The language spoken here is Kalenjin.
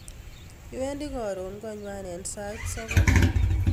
Iwendi koron kongwak en sait sogol